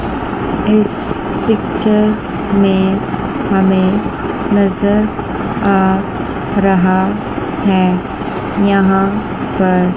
इस पिक्चर में हमें नजर आ रहा है यहां पर।